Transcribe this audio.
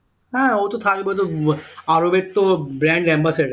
হ্যাঁ ও তো থাকবে ওতো আরবের তো brand ambassador